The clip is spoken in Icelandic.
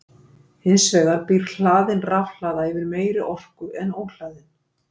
Hins vegar býr hlaðin rafhlaða yfir meiri orku en óhlaðin.